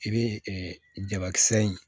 I bɛ jabakisɛ in